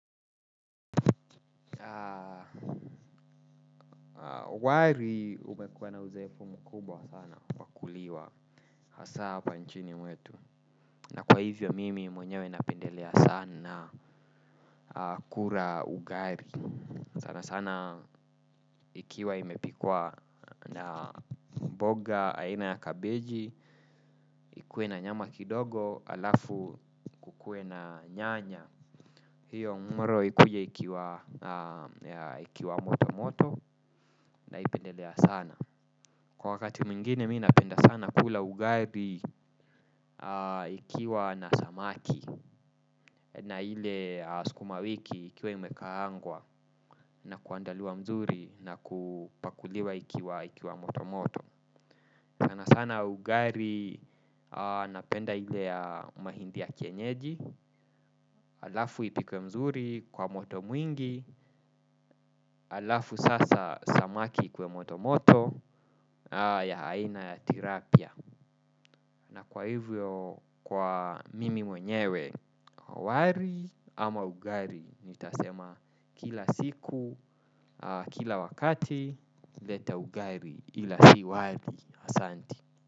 Wali umekuwa na uzoefu mkubwa sana kwa kuliwa hasa hapa nchini mwetu. Na kwa hivyo mimi mwenyewe napendelea sana kula ugali. Sana sana ikiwa imepikwa na mboga aina ya kabeji. Ikue na nyama kidogo alafu ikue na nyanya. Hiyo mworo ikuja ikiwa moto moto na ipendelea sana. Kwa wakati mingine mi napenda sana kula ugali ikiwa na samaki na ile sukuma wiki ikiwa imekaangwa na kuandaliwa mzuri na kupakuliwa ikiwa moto moto. Sana sana ugaili napenda ile ya mahindi ya kienyeji, alafu ipikwe mzuri kwa moto mwingi, alafu sasa samaki kwa motomoto ya haina ya tilapia. Na kwa hivyo kwa mimi mwenyewe, wali ama ugali, nitasema kila siku, kila wakati, leta ugali ila si wali asanti.